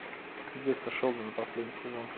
детство шелдона последний сезон